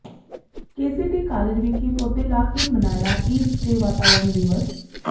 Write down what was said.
KCT college ਵਿਖੇ ਪੌਦੇ ਲਾ ਕੇ ਮਨਾਇਆ ਈਦ ਤੇ ਵਾਤਾਵਰਨ ਦਿਵਸ